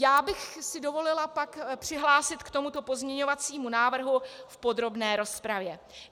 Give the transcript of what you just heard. Já bych si dovolila pak přihlásit k tomuto pozměňovacímu návrhu v podrobné rozpravě.